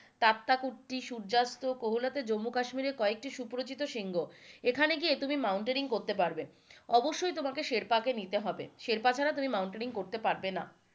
তাতাকুতি, সূর্যাস্ত, কোলাহই জম্মু কাশ্মীরের কয়েকটি সুপরিচিত শৃঙ্গঃ এখানে গিয়ে তুমি মৌনতাইনেরিং করতে পারবে অবশ্যই তোমাকে শেরপাকে নিতে হবে, শেরপা ছাড়া তুমি মৌনতাইনেরিং করতে পারবে না,